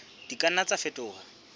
di ka nna tsa fetoha